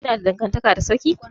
Kina da dangantaka da sarki?